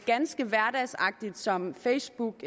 ganske hverdagsagtigt som facebook